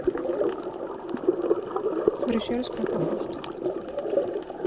брюссельская капуста